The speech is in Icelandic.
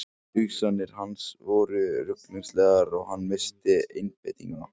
Hugsanir hans voru ruglingslegar og hann missti einbeitninguna.